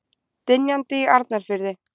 Dynjandi í Arnarfirði.